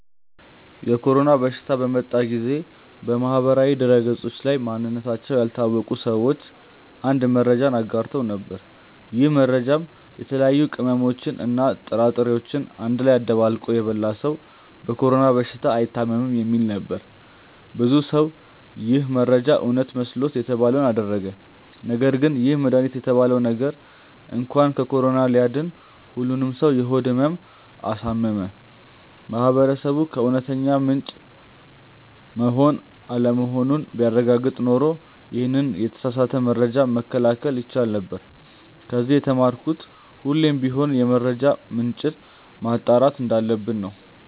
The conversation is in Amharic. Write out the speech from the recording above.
የኮሮና በሽታ በመጣ ጊዜ በማህበራዊ ድህረገጾች ላይ ማንነታቸው ያልታወቀ ሰዎች አንድ መረጃን አጋርተው ነበር። ይህ መረጃም የተለያዩ ቅመሞችን እና ጥራጥሬዎችን አንድ ላይ አደባልቆ የበላ ሰው በኮሮና በሽታ አይታምም የሚል ነበር። ብዙ ሰው ይህ መረጃ እውነት መስሎት የተባለውን አደረገ ነገርግን ይህ መድሃኒት የተባለው ነገር እንኳን ከኮሮና ሊያድን ሁሉንም ሰው የሆድ ህመም አሳመመ። ማህበረሰቡ ከእውነተኛ ምንጭ መሆን አለመሆኑን ቢያረጋግጥ ኖሮ ይሄንን የተሳሳተ መረጃ መከላከል ይቻል ነበር። ከዚ የተማርኩት ሁሌም ቢሆን የመረጃ ምንጭን ማጣራት እንዳለብን ነው።